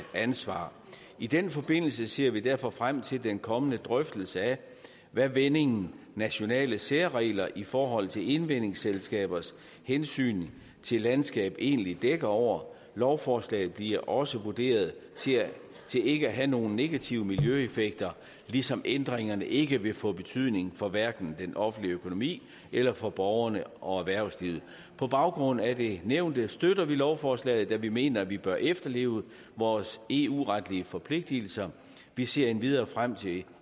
ansvar i den forbindelse ser vi derfor frem til den kommende drøftelse af hvad vendingen nationale særregler i forhold til indvindingsselskabers hensyn til landskab egentlig dækker over lovforslaget bliver også vurderet til ikke at have nogen negative miljøeffekter ligesom ændringerne ikke vil få betydning for hverken den offentlige økonomi eller for borgerne og erhvervslivet på baggrund af det nævnte støtter vi lovforslaget da vi mener at vi bør efterleve vores eu retlige forpligtelser vi ser endvidere frem til